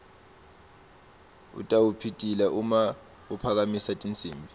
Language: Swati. utawupitila uma aphakamisa tinsimbi